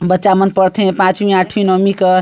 बच्चा मन पढ़थे पांचवी आठवीं नौमी क --